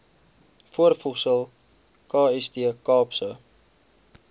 voorvoegsel kst kaapse